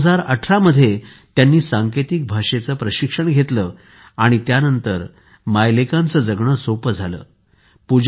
2018 साली त्यांनी सांकेतिक भाषेचे प्रशिक्षण घेतले आणि त्य़ानंतर या मायलेकांचे जगणे सोपे झाले आहे